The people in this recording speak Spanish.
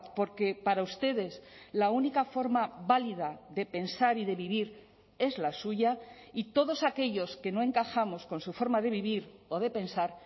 porque para ustedes la única forma válida de pensar y de vivir es la suya y todos aquellos que no encajamos con su forma de vivir o de pensar